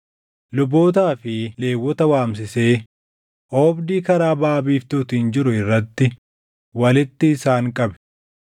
Lubootaa fi Lewwota waamsisee oobdii karaa baʼa biiftuutiin jiru irratti walitti isaan qabee